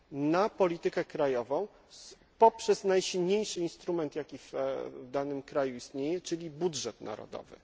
rozwoju na politykę krajową poprzez najsilniejszy instrument istniejący w danym kraju, czyli budżet narodowy.